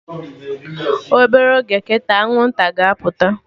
Obere oge kịta, Anwụnta ga-apụta